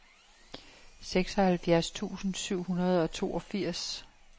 seksoghalvfjerds tusind syv hundrede og toogfirs